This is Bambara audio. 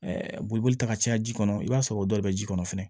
boliboli ta ka caya ji kɔnɔ i b'a sɔrɔ o dɔw be ji kɔnɔ fɛnɛ